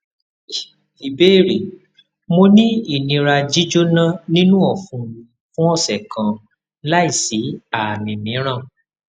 ìbéèrè mo ni inira jíjona ninu ọfun mi fun ọsẹ kan lai si aami miiran